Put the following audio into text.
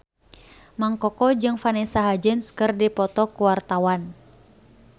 Mang Koko jeung Vanessa Hudgens keur dipoto ku wartawan